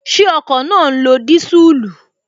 Ṣé ọkọ̀ náà ń lo disuulu?